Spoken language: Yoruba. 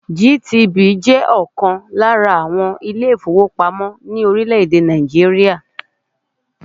GTB jẹ́ ọ̀kan lára àwọn ilé-ìfowópamọ́ ní orílẹ̀-èdè Nàìjíríà.